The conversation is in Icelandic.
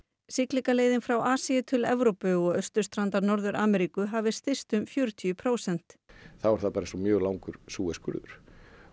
siglingaleiðin frá Asíu til Evrópu og austurstrandar Norður Ameríku hafi styst um fjörutíu prósent þá er það bara eins og mjög langur Suez skurður